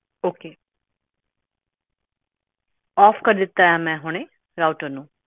okay off ਕਰ ਦਿੱਤਾ ਏ ਮੈਂ ਹੁਣੇ ਰਾਊਟਰ ਨੂੰ